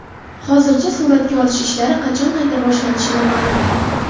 Hozircha suratga olish ishlari qachon qayta boshlanishi noma’lum.